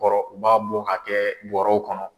Kɔrɔ u b'a bɔ ka kɛ bɔrɔw kɔnɔ.